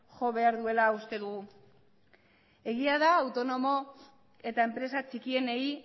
jo behar duela uste dugu egia da autonomo eta enpresa txikienei